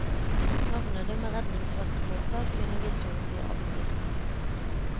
Savnede med redningsvest på seg finner vi så å si alltid.